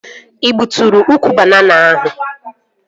Ị gbuturu ukwu banana ahụ?